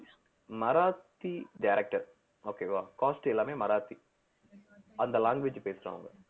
Marathi director okay வா cast எல்லாமே மராத்தி அந்த language பேசுறவங்க